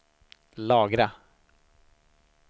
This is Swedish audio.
lagra